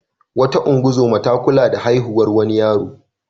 Wata ungozoma ta kula da haihuwar wani yaro.